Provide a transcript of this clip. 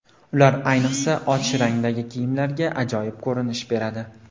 Ular ayniqsa, och rangdagi kiyimlarga ajoyib ko‘rinish beradi.